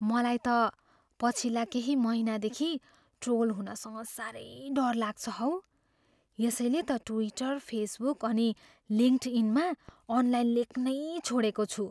मलाई त पछिल्ला केही महिनादेखि ट्रोल हुनसँग साह्रै डर लाग्छ हौ। यसैले त ट्विटर, फेसबुक अनि लिङ्कडइनमा अनलाइन लेख्नै छोडेको छु।